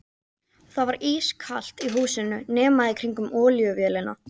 Það var ískalt í húsinu nema í kringum olíuvélina.